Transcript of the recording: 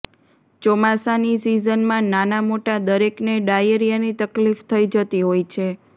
ચોમાસાની સિઝનમાં નાનામોટા દરેકને ડાયેરિયાની તકલીફ થઇ જતી હોય છે